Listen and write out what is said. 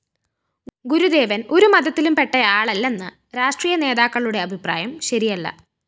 ഗുരുദേവന്‍ ഒരുമതത്തിലുംപ്പെട്ടയാളല്ലെന്ന രാഷ്ട്രീയനേതാക്കളുടെ അഭിപ്രായം ശരിയല്ല